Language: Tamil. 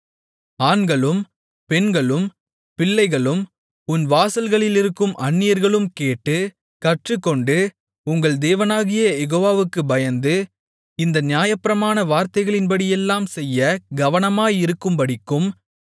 ஆண்களும் பெண்களும் பிள்ளைகளும் உன் வாசல்களிலிருக்கும் அந்நியர்களும் கேட்டு கற்றுக்கொண்டு உங்கள் தேவனாகிய யெகோவாவுக்குப் பயந்து இந்த நியாயப்பிரமாண வார்த்தைகளின்படியெல்லாம் செய்யக் கவனமாயிருக்கும்படிக்கும்